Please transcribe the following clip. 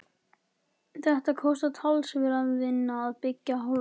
Þetta kostar talsverða vinnu af beggja hálfu.